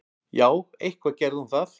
Já, eitthvað gerði hún það.